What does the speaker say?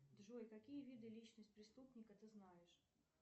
джой какие виды личность преступника ты знаешь